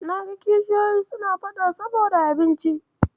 Na ga kishiyoyi suna faɗa saboda abinci.